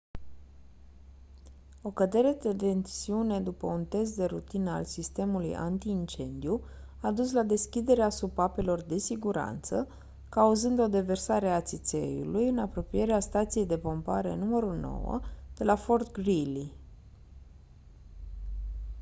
o cădere de tensiune după un test de rutină al sistemului anti-incendiu a dus la deschiderea supapelor de siguranță cauzând o deversare a țițeiului în apropierea stației de pompare nr. 9 de la fort greely